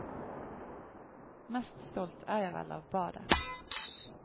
Mest stolt er jeg vel av badet.